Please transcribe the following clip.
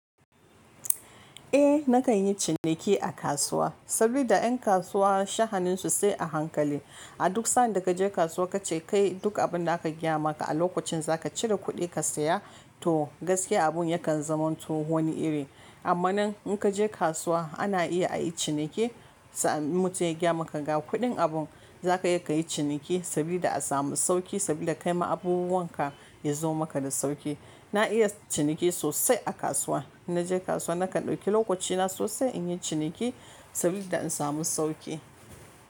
Eh na kan yi ciniki a kasuwa saboda 'yan kasuwa sha'aninsu sai a hankali. A duk sa'anda ka je kasuwa ka ce kai duk abin da aka gaya maka a lokacin za ka cire kuɗi ka saya to gaskiya abun ya kan zamanto wani iri. Amma nan in ka je kasuwa ana iya a yi ciniki sa'an mutum ya gaya maka ga kuɗin abun za ka iya ka yi ciniki saboda a samu sauƙi saboda kai ma abubuwan ka ya zo maka da sauƙi. Na iya ciniki sosai a kasuwa. In na je kasuwa na kan ɗauki lokacina sosai in yi ciniki saboda in samu sauƙi.